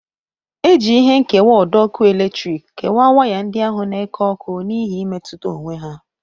E ji ihe nkewa ọdọ ọkụ eletriki kewa waya ndị ahụ na-eke ọkụ n'ihi imetuta onwe ha.